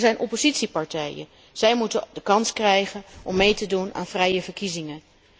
Er zijn oppositiepartijen en zij moeten de kans krijgen om mee te doen aan vrije verkiezingen.